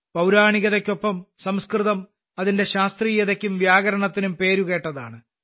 പൌരാണികതയ്ക്കൊപ്പം സംസ്കൃതം അതിന്റെ ശാസ്ത്രീയതയ്ക്കും വ്യാകരണത്തിനും പേരുകേട്ടതാണ്